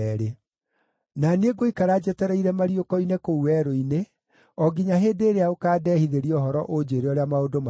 Na niĩ ngũikara njetereire mariũko-inĩ kũu werũ-inĩ, o nginya hĩndĩ ĩrĩa ũkaandehithĩria ũhoro ũnjĩĩre ũrĩa maũndũ matariĩ.”